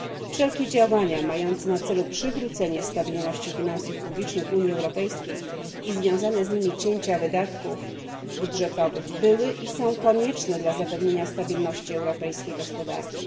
Wszelkie działania mające na celu przywrócenie stabilności finansów publicznych w Unii Europejskiej i związane z nimi cięcia wydatków budżetowych były i są konieczne dla zapewnienia stabilności europejskiej gospodarki.